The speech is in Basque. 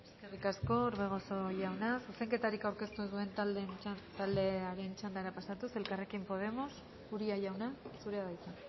eskerrik asko orbegozo jauna zuzenketarik aurkeztu ez duen taldearen txandara pasatuz elkarrekin podemos uria jauna zurea da hitza